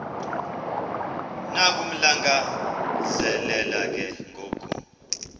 nokumlangazelela ke ngoku